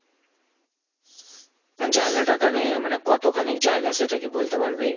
জায়গা টাইগা নিয়ে মানে কতখানি জায়গা সেটা কি বলতে পারবি?